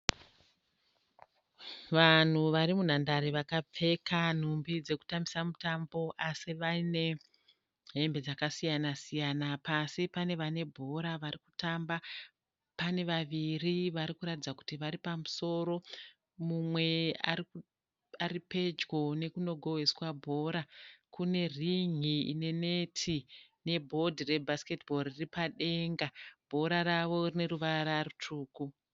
Vanhu varimundanhare vakapfeka nhumbi dzekutambisa mutambo asi vaine hembe dzakasiyana siyana. Pasi pane vane bhora varikutamba. Pane vaviri varikuratidza kuti vari pamusoro, mumwe aripedyo nekunogohweswa bhora. Kune rin'i rine neti, nebhodhi rebhasiketi bhoo riripadenga. Bhora ravo rine ruvara rutsvuku.